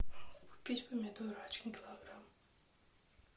купить помидоры один килограмм